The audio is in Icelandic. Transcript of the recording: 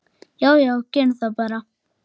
Já já, gerum það bara.